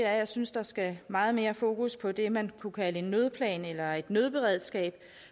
at jeg synes der skal meget mere fokus på det man kunne kalde en nødplan eller et nødberedskab